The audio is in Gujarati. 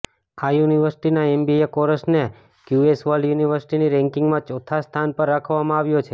આ યુનિવર્સિટીના એમબીએ કોર્ષને ક્યૂએસ વર્લ્ડ યુનિવર્સિટી રેન્કિંગમાં ચોથા સ્થાન પર રાખવામાં આવ્યો છે